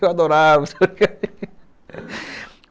Eu adorava.